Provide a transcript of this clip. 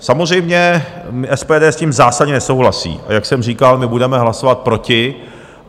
Samozřejmě SPD s tím zásadně nesouhlasí, a jak jsem říkal, my budeme hlasovat proti.